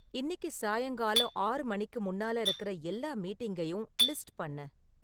இன்னிக்கு சாயங்காலம் ஆறு மணிக்கு முன்னால இருக்கிற எல்லா மீட்டிங்கையும் லிஸ்ட் பண்ணு